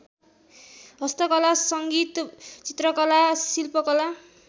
हस्तकला सङ्गीत चित्रकला शिल्पकला